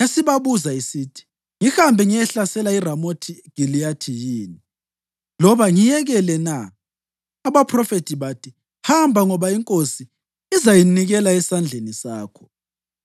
yasibabuza isithi, “Ngihambe ngiyehlasela iRamothi Giliyadi yini, loba ngiyekele na?” Abaphrofethi bathi, “Hamba ngoba iNkosi izayinikela esandleni sakho.”